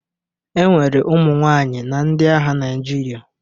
E nwere ụmụ nwaanyị na ndị agha Naịjirịa.